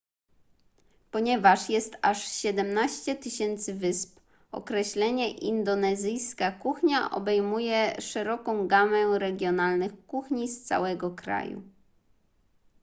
ponieważ jest aż 17 000 wysp określenie indonezyjska kuchnia obejmuje szeroką gamę regionalnych kuchni z całego kraju